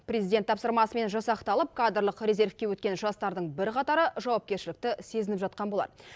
президент тапсырмасымен жасақталып кадрлық резервке өткен жастардың бірқатары жауапкершілікті сезініп жатқан болар